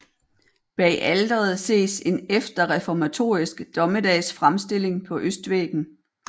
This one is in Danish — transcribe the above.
Bag alteret ses en efterreformatorisk Dommedagsfremstilling på østvæggen